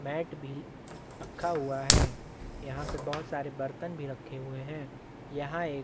mat bill रखा हुआ है यहाँ पे बहुत सारे बर्तन भी रखे हुए है यहाँ एक--